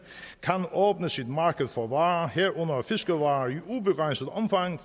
kan åbne sit marked for varer herunder fiskevarer i ubegrænset omfang